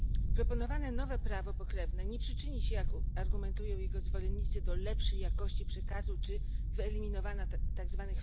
Proponowane nowe prawo pokrewne nie przyczyni się, jak argumentują jego zwolennicy, do lepszej jakości przekazu czy wyeliminowania tzw.